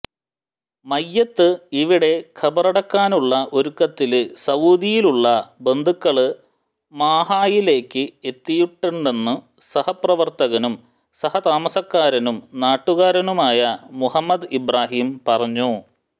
മയ്യത്ത് ഇവിടെ ഖബറടക്കാനുള്ള ഒരുക്കത്തില് സഊദിയിലുള്ള ബന്ധുക്കള് മാഹായിലേക്ക് എത്തിയിട്ടുണ്ടെന്നു സഹപ്രവര്ത്തകനും സഹ താമസക്കാരനും നാട്ടുകാരനായ മുഹമ്മദ് ഇബ്റാഹീം പറഞ്ഞു